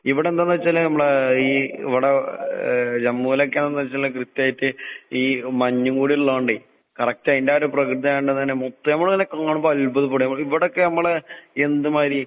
ഇവടെന്താന്നെച്ചാല് നമ്മടെ ഈ ഇവടെ ഏഹ് ജമ്മൂലൊക്കാണെന്നെച്ചാല് കൃത്യായിട്ട് ഈ മഞ്ഞും കൂടിയിള്ളകൊണ്ടേ കറക്റ്റയിന്റാ ഒരു പ്രകൃത്യായോണ്ട് തന്നെ മുത്ത് നമ്മളിങ്ങനെ കാണുമ്പ അത്ഭുതപ്പെടേ. ഇവടെക്കെയമ്മള് എന്ത് മാരി